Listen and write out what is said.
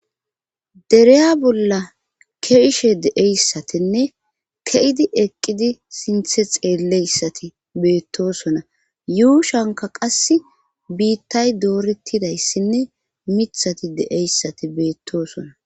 dereya bolla ke'ishe deeyssatinne ke7idi eqqidi sinthe xeelleyssati beettosona yuushanka qass biittay doorettidayssinne mithati de7eyssati beettoosona